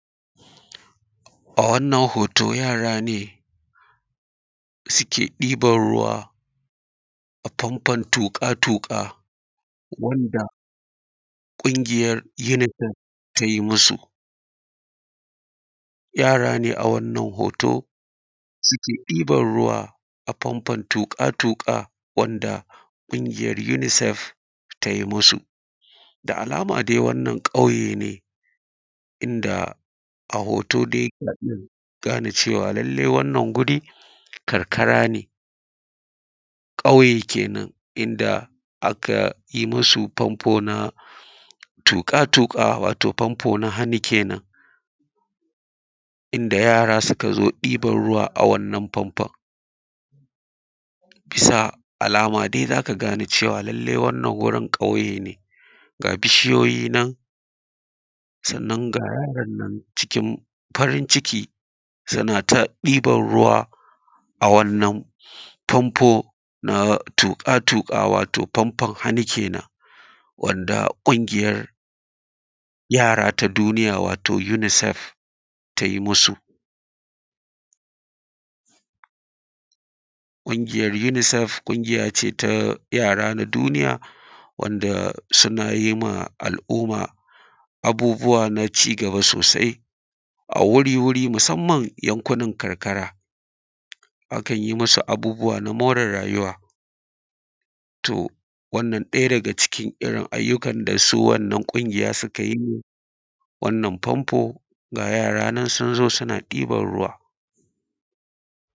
A wannan hoto yara ne suke ɗiban ruwa a fanfon toƙ’a-toƙa wanda ƙuŋiyar UNICEF ta yi musu. Yara ne a wannan hoto suke ɗiban ruwa a fanfon toƙ’a-toƙ’a wanda ƙuŋiyar UNICEF ta yi musu. Da alama dai wannan ƙuye ne, inda a hoto dai na gane cewa llallai wannan guri karkara ne. Ƙauye kenan inda aka yi musu fanfo na toƙa-toƙa. Wato fanfo na hannu kenan, inda yaran suka zo ɗiban ruwa a wannan fanfon. Bisa alama dai za ka gane cewa llallai wannan wurin ƙauye ne. Ga bishiyoyi nan, sannan ga yaran nan cikin farin ciki suna ta ɗiban ruwa a wannan faŋnfo na toƙ’a-toƙ’a. Wato fanfon hannu kenan wanda ƙ’ungiyar yaran duniya wato UNICEF ta yi musu. Ƙungiyar UNICEF ƙungiya ce ta yaran duniya wanda suna yi m’a al’umma abubuwa na cigaba sosai a wuri-wuri, musamman yankunan karkara. Akan yi musu abubbuwa na more rajuwa, to wannan ɗaya daga cikin irin ayyukan da su wannan ƙungiya suka yi. A wannan fanfo ga yaran nan sun zo suna ɗiban ruwa.